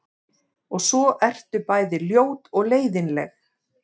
Og svo ertu bæði ljót og leiðinleg.